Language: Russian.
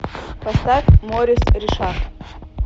поставь морис ришар